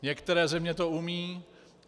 Některé země to umějí.